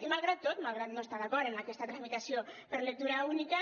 i malgrat tot malgrat no estar d’acord amb aquesta tramitació per lectura única